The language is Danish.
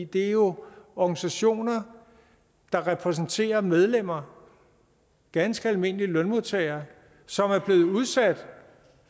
det er jo organisationer der repræsenterer medlemmer ganske almindelige lønmodtagere som er blevet udsat